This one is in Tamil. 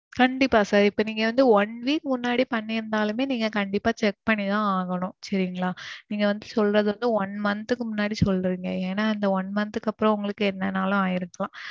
கண்டிப்பா sir இப்போ நீங்க வந்து one week முன்னாடி பண்ணிருந்தாலுமே நீங்க கண்டிப்பா check பண்ணி தான் ஆகணும். சரிங்களா. நீங்க வந்து சொல்றது வந்து one month க்கு முன்னாடி சொல்றீங்க. ஏன்னா இந்த one month க்கு அப்பறோம் உங்களுக்கு என்னணாலும் ஆயிருக்கலாம்.